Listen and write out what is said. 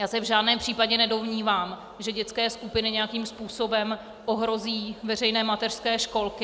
Já se v žádném případě nedomnívám, že dětské skupiny nějakým způsobem ohrozí veřejné mateřské školky.